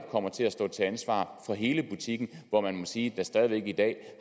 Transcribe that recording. kommer til at stå til ansvar for hele butikken hvor man må sige at der stadig væk i dag